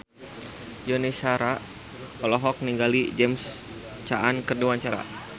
Yuni Shara olohok ningali James Caan keur diwawancara